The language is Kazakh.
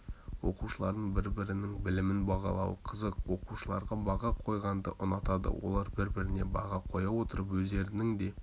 оқушылардың бір-бірінің білімін бағалауы қызық оқушылар баға қойғанды ұнатады олар бір-біріне баға қоя отырып өздерінің де